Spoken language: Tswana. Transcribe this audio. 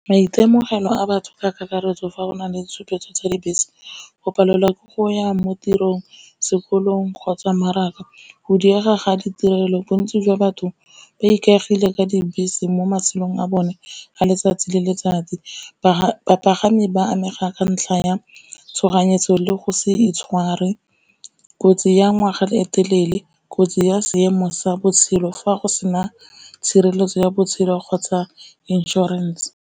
Maitemogelo a batho ka kakaretso fa go na le tshupetso tsa dibese, go palelwa ke go ya mo tirong, sekolong kgotsa maraka, go diega ga ditirelo bontsi jwa batho ba ikaegile ka dibese mo matshelong a bone. A letsatsi le le letsatsi bapagami ba amega ka ntlha ya tshoganyetso le go se itshware, kotsi ya ngwaga le etelele, kotsi ya seemo sa botshelo fa go sena tshireletso ya botshelo kgotsa insurance.